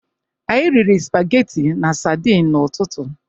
Anyị riri spageti na sadin n'ụtụtụ.